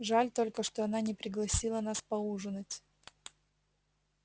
жаль только что она не пригласила нас поужинать